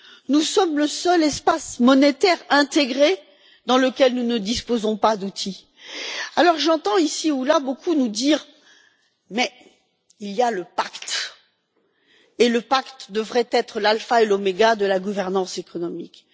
Nous sommes le seul espace monétaire intégré qui ne dispose pas d'outils. J'entends ici ou là beaucoup nous dire Mais il y a le pacte, et le pacte devrait être l'alpha et l'oméga de la gouvernance économique.